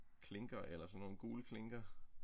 Klinker eller sådan nogle gule klinker